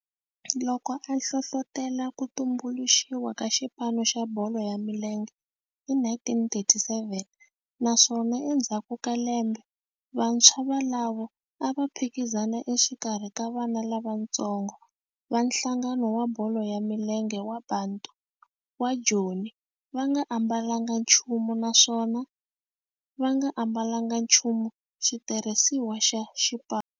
Loko a hlohlotela ku tumbuluxiwa ka xipano xa bolo ya milenge hi 1937 naswona endzhaku ka lembe vantshwa volavo a va phikizana exikarhi ka vana lavatsongo va nhlangano wa bolo ya milenge wa Bantu wa Joni va nga ambalanga nchumu naswona va nga ambalanga nchumu xitirhisiwa xa xipano.